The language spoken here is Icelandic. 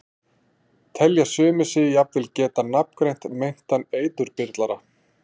Telja sumir sig jafnvel geta nafngreint meintan eiturbyrlara.